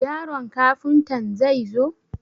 Yaron Kafuntan zai zo?